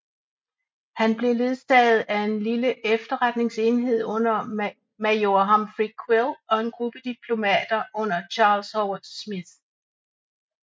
Han blev ledsaget af en lille efterretningsenhed under major Humphrey Quill og en gruppe diplomater under Charles Howard Smith